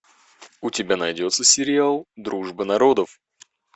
у тебя найдется сериал дружба народов